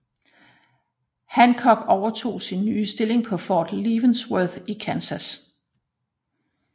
Hancock overtog sin nye stilling på Fort Leavenworth i Kansas